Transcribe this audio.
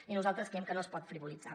i nosaltres creiem que no es pot frivolitzar